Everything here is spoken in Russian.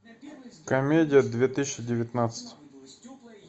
комедия две тысячи девятнадцать